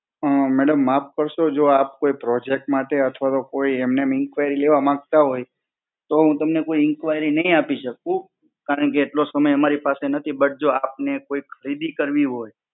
અ madam માફ કરશો, જો આપ કોઈ Project માટે અથવા તો કોઈ એમનેમ inquiry લેવા માંગતા હોય તો હું તમને કોઈ inquiry નહીં આપી શકું. કારણકે એટલો સમય મારી પાસે નથી but જો આપણે કોઈ ખરીદી કરવી હોય,